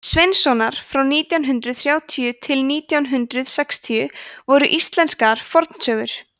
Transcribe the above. sveinssonar frá nítján hundrað þrjátíu til nítján hundrað sextíu voru íslenskar fornsögur